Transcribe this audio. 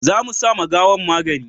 za mu sa ma gawan magani